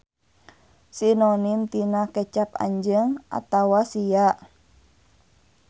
Sinonim tina kecap anjeun atawa sia.